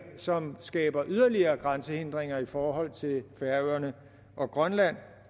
som skaber yderligere grænsehindringer i forhold til færøerne og grønland